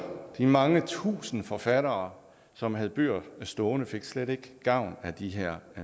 de mange tusinde forfattere som havde bøger stående fik slet ikke gavn af de her